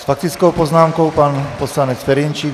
S faktickou poznámkou pan poslanec Ferjenčík.